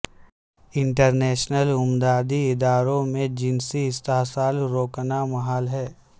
international امدادی اداروں میں جنسی استحصال روکنا محال ہے